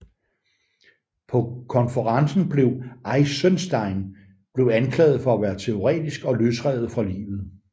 På konferencen blev Eisenstein blev anklaget for at være teoretisk og løsrevet fra livet